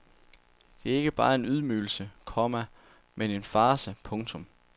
Det er ikke bare en ydmygelse, komma men en farce. punktum